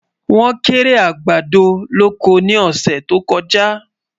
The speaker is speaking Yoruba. wón kéré àgbàdo lọkọ ní ọsẹ tó kojá